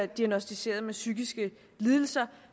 diagnosticeret med psykiske lidelser